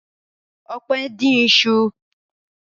Ọpẹ́ dín iṣu?